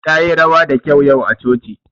Tayi rawa da kyau yau a coci.